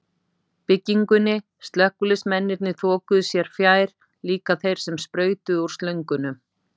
byggingunni, slökkviliðsmennirnir þokuðu sér fjær, líka þeir sem sprautuðu úr slöngunum.